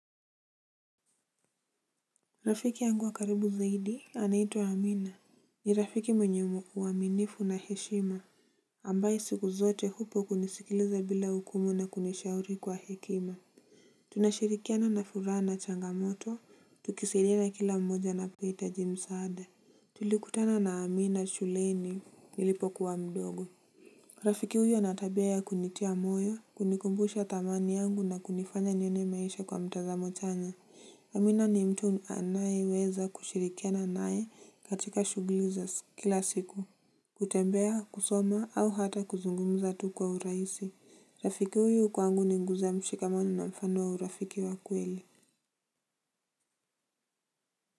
Rafiki yangu wa karibu zaidi anaitwa Amina. Ni rafiki mwenye uaminifu na heshima ambaye siku zote upo kunisikiliza bila hukumu na kunishauri kwa hekima. Tunashirikiana na furaha na changamoto tukisaidiana kila mmoja napohita msaada. Tulikutana na Amina shuleni nilipokuwa mdogo. Rafiki huyo ana tabia ya kunitia moyo kunikumbusha thamani yangu na kunifanya nione maisha kwa mtazamo chanya amina ni mtu anayeweza kushirikiana naye katika shughuli za kila siku. Kutembea, kusoma au hata kuzungumza tu kwa urahisi. Rafiki huyu kwangu ni nguzo mshikamano na mfano wa urafiki wa kweli.